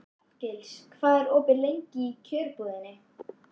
Arngils, hvað er opið lengi í Kjörbúðinni?